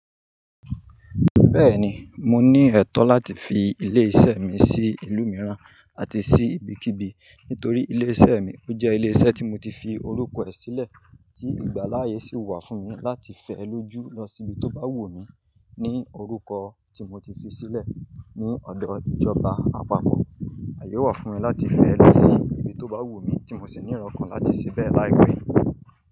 Bẹ́ẹ̀ ni, mo ní ẹ̀tọ́ láti fi ilé iṣẹ́ mi sí ìlú mìíràn àti sí ibikíbi nítorí ilé iṣẹ́ mi ó jẹ́ ilé iṣẹ́ tí mo ti fi orúkọ ẹ̀ sílẹ̀, tí ìgbà láàyè sì wà fún mi láti fẹ́ lójú lọ síbi tó bá wù mí ní orúkọ tí mo ti fi sílẹ̀ ní ọ̀dọ̀ ìjọba àpapọ̀. Aàyè wà fún mi láti fẹ́ lọ sí ibi tó bá wù mí tí mo sì ní erọ́ okan láti ṣe bẹ́ẹ̀ láìpẹ́.